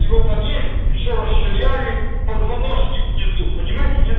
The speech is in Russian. и вот они ещё расширяли позвоночник внизу понимаете нет